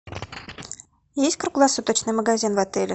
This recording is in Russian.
есть круглосуточный магазин в отеле